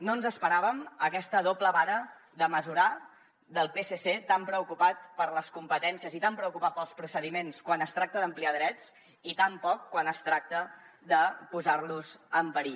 no ens esperàvem aquesta doble vara de mesurar del psc tan preocupat per les competències i tan preocupat pels procediments quan es tracta d’ampliar drets i tan poc quan es tracta de posarlos en perill